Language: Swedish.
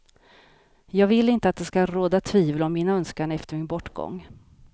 Jag vill inte att det ska råda tvivel om min önskan efter min bortgång.